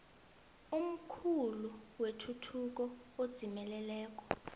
omkhulu wetuthuko edzimeleleko